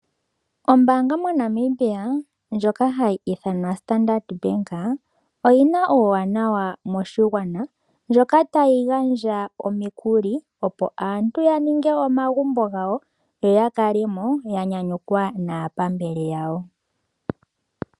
Ombaanga moNamibia ndjoka hayi ithanwa Standard Bank, oyina uuwanawa moshigwana, ndjoka tayi gandja omikuli opo aantu ya ninge omagumbo gawo, yo yakale mo ya nyanyukwa naapambele yawo.